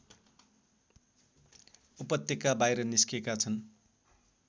उपत्यका बाहिर निस्केका छन्